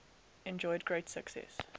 enjoyed great success